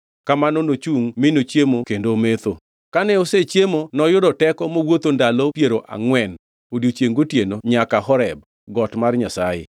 Kamano nochungʼ mi ochiemo kendo ometho. Kane osechiemo noyudo teko mowuotho ndalo piero angʼwen, odiechiengʼ gotieno nyaka Horeb, got mar Nyasaye.